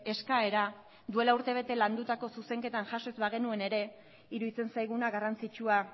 eskaera duela urtebete landutako zuzenketan jaso ez bagenuen ere iruditzen zaiguna garrantzitsua